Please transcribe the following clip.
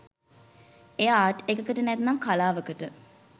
එය ආට් එකකට නැත්නම් කලාවකට